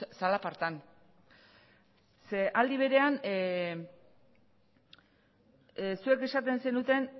zalapartan ze aldi berean zuek esaten zenuten